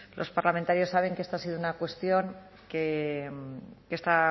los parlamentarios saben que esta ha sido una cuestión que esta